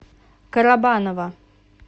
карабаново